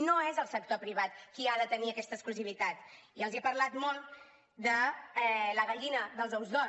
no és el sector privat qui ha de tenir aquesta exclusivitat i els he parlat molt de la gallina dels ous d’or